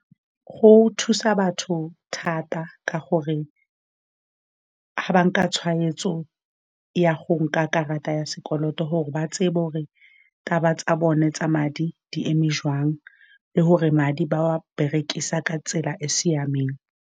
Go thusa batho thata, ka gore ga ba nka tshweetso ya go nka karata ya sekoloto, gore ba tsebe hore taba tsa bone tsa madi di eme joang, le gore madi ba wa berekisa ka tsela e e siameng.